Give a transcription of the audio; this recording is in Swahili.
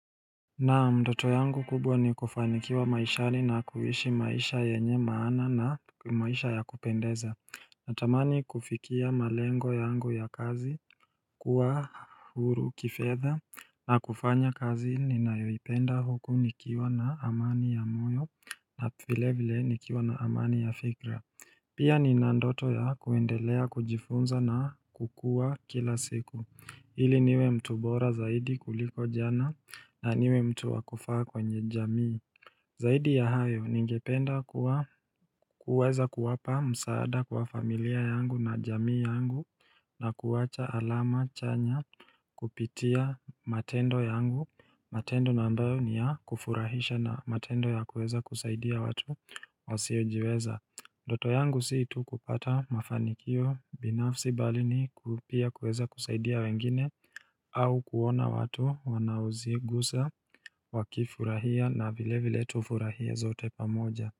Naam ndoto yangu kubwa ni kufanikiwa maishani na kuishi maisha yenye maana na maisha ya kupendeza Natamani kufikia malengo yangu ya kazi kuwa huru kifedha na kufanya kazi ninayoipenda huku nikiwa na amani ya moyo na vile vile nikiwa na amani ya fikra Pia nina ndoto ya kuendelea kujifunza na kukua kila siku Hili niwe mtu bora zaidi kuliko jana na niwe mtu wa kufaa kwenye jamii Zaidi ya hayo ningependa kuweza kuwapa msaada kwa familia yangu na jamii yangu na kuwacha alama chanya kupitia matendo yangu matendo na ambayo ni ya kufurahisha na matendo ya kuweza kusaidia watu wasiyojiweza ndoto yangu si tu kupata mafanikio binafsi bali ni pia kuweza kusaidia wengine au kuona watu wanaozigusa wakifurahia na vile vile tufurahia zote pamoja.